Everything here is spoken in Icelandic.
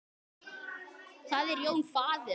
Það er Jón faðir hans.